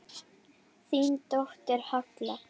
Þín dóttir, Halla.